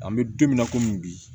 An bɛ don min na komi bi